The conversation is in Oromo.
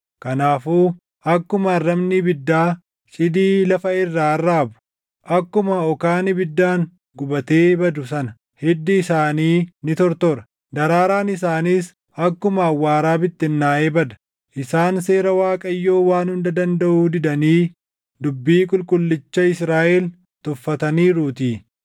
Kanaafuu akkuma arrabni ibiddaa cidii lafa irraa arraabu, akkuma okaan ibiddaan gubatee badu sana hiddi isaanii ni tortora; daraaraan isaaniis akkuma awwaaraa bittinnaaʼee bada; isaan seera Waaqayyoo Waan Hunda Dandaʼuu didanii dubbii Qulqullicha Israaʼel tuffataniiruutii.